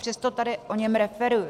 Přesto tady o něm referuji.